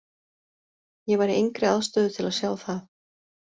Ég var í engri aðstöðu til að sjá það.